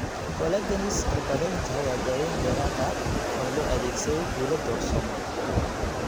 Collagenase cirbadeynta waa daaweyn dheeraad ah oo loo adeegsaday guulo doorsooma.